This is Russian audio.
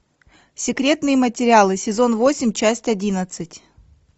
секретные материалы сезон восемь часть одиннадцать